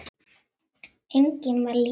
Einnig var Lísa góður málari.